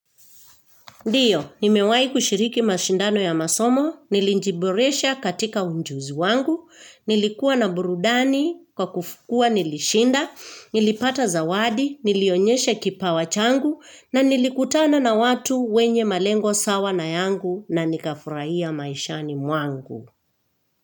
Ndiyo, nimewahi kushiriki mashindano ya masomo, nilijiboresha katika ujuzi wangu, nilikuwa na burudani, kwa kuwa nilishinda, nilipata zawadi, nilionyesha kipawa changu, na nilikutana na watu wenye malengo sawa na yangu na nikafurahia maishani mwangu.